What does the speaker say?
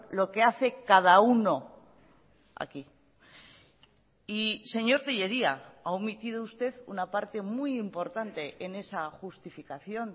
lo que hace cada uno aquí y señor tellería ha omitido usted una parte muy importante en esa justificación